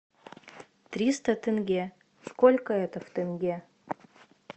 триста тенге сколько это в тенге